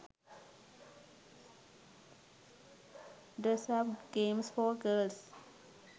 dress up games for girls